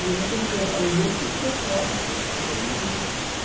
E a gente não queria estar no meio, tinha que correr fora daquilo, se você não morria.